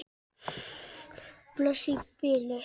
Bless í bili.